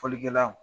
Fɔlikɛlaw